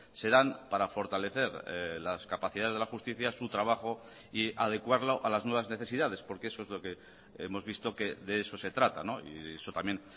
se dan para fortalecer las capacidades de la justicia su trabajo y adecuarlo a las nuevas necesidades porque eso es lo que hemos visto que de eso se trata y eso también